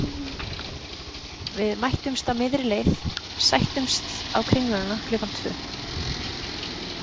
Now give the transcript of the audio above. Við mættumst á miðri leið, sættumst á Kringluna klukkan tvö.